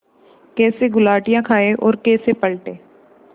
कैसे गुलाटियाँ खाएँ और कैसे पलटें